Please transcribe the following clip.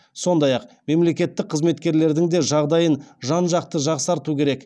сондай ақ мемлекеттік қызметкерлердің де жағдайын жан жақты жақсарту керек